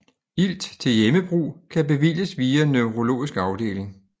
Ilt til hjemmebrug kan bevilges via neurologisk afdeling